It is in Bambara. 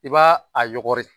I b'a a yɔgɔri